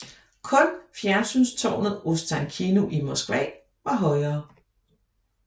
Kun fjernsynstårnet Ostankino i Moskva var højere